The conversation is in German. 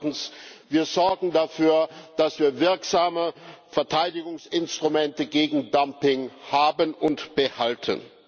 Und zweitens Wir sorgen dafür, dass wir wirksame Verteidigungsinstrumente gegen Dumping haben und behalten.